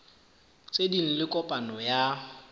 tse ding le kopano ya